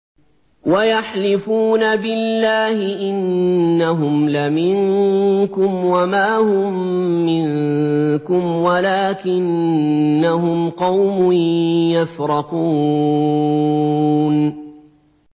وَيَحْلِفُونَ بِاللَّهِ إِنَّهُمْ لَمِنكُمْ وَمَا هُم مِّنكُمْ وَلَٰكِنَّهُمْ قَوْمٌ يَفْرَقُونَ